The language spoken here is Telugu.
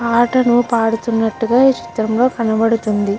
పాటను పడుతునాట్టుగా ఈ చిత్రం లో కనబడుతుంది.